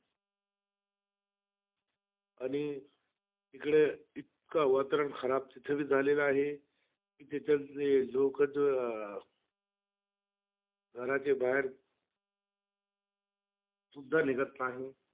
आणि इकडे इतकं वातावरण खराब, तीथेबी झालेलं आहे. कि त्यांच्याल लोक अं घराचे बाहेर सुद्धा निघत नाही.